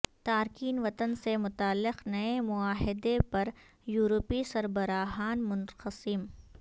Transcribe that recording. تارکین وطن سے متعلق نئے معاہدے پر یورپی سربراہان منقسم